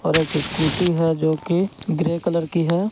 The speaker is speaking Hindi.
और एक स्कूटी है जो कि ग्रे कलर की है।